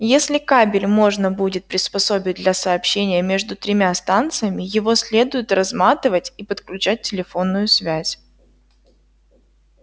если кабель можно будет приспособить для сообщения между тремя станциями его следует разматывать и подключать телефонную связь